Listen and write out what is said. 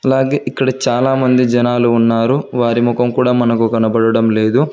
అలాగే ఇక్కడ చాలామంది జనాలు ఉన్నారు వారి ముఖం కూడా మనకు కనబడడం లేదు.